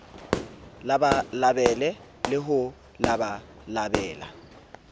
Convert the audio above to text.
labalabele le ho bo labalabela